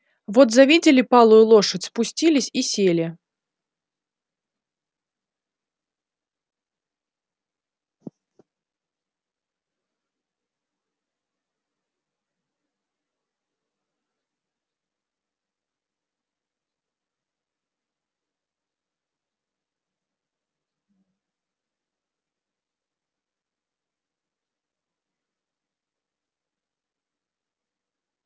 вот завидели палую лошадь спустились и сели